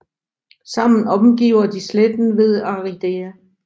Sammen omgiver de sletten ved Aridea